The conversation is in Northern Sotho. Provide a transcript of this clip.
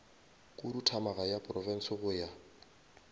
khuduthamaga ya profense go ya